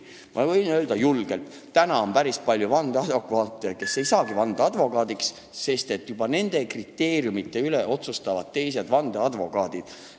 Ma võin julgelt öelda, et täna on päris palju advokaate, kes ei saagi vandeadvokaadiks, sest nende kriteeriumite üle otsustavad teised vandeadvokaadid.